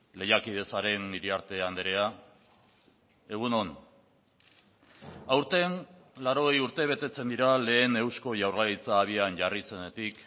lehiakide zaren iriarte andrea egun on aurten laurogei urte betetzen dira lehen eusko jaurlaritza abian jarri zenetik